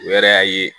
O yɛrɛ y'a ye